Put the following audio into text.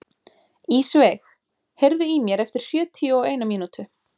Ísveig, heyrðu í mér eftir sjötíu og eina mínútur.